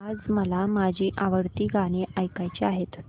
आज मला माझी आवडती गाणी ऐकायची आहेत